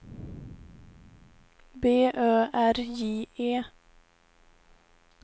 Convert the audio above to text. B Ö R J E